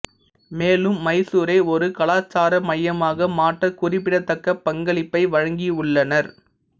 மேலும் மைசூரை ஒரு கலாச்சார மையமாக மாற்ற குறிப்பிடத்தக்க பங்களிப்பை வழங்கியுள்ளனர்